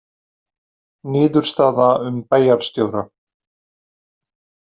Niðurstaða um bæjarstjóra